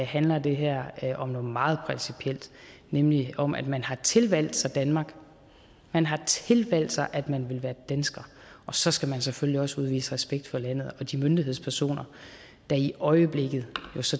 handler det her om noget meget principielt nemlig om at man har tilvalgt sig danmark man har tilvalgt sig at man vil være dansker og så skal man selvfølgelig også udvise respekt for landet og de myndighedspersoner der i øjeblikket